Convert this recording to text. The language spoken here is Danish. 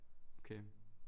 Okay